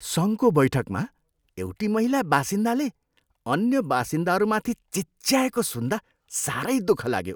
सङ्घको बैठकमा एउटी महिला बासिन्दाले अन्य बासिन्दाहरूमाथि चिच्याएको सुन्दा साह्रै दुःख लाग्यो।